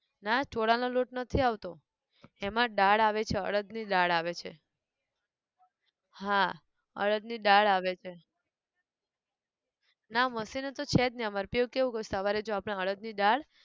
ના ચોળા નો લોટ નથી આવતો, એમાં દાળ આવે છે અડદ ની દાળ આવે છે, હા અડદ ની દાળ આવે છે, ના machine તો છે જ નઈ અમારે કેવું કેવું કરું જો સવારે આપણે અડદ ની દાળ